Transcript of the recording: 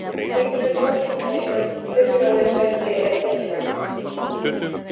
Heilbrigð samkeppni um byrjunarliðssæti er mikilvæg.